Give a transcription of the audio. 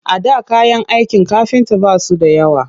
A da kayan aikin kafinta ba su da yawa